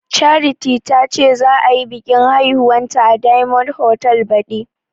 Charity tace za ayi biƙin aihuwanta a diyamond hotal baɗi